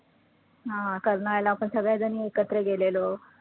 हा कर्नाळ्याला सगळ्याजणी एकत्र गेलेलो.